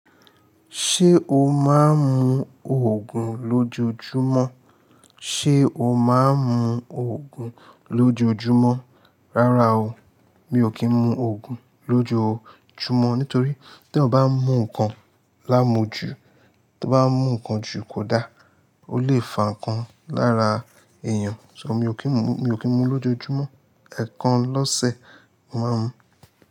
Ṣé o máa ń mu Ògùn lójojúmọ́? Ṣé o máa ń mu Ògùn lójojúmọ́? Rárá o, mi ò kí ń mu Ògùn lójojumọ́. Nítorí tí ọ bá mú nǹkan lámu jù, tí o bá mú nǹkan jù kò da. Ó lè fa nǹkan lára èèyàn. So mi ò kí ń mu, mi ò kí ń mu lójojúmọ́. Ẹ̀ẹ̀kan lọ́sẹ̀, màá mú.